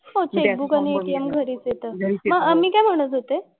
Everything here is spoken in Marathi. हां चेकबुक आणि ATM घरीच येतं. मी काय म्हणत होते,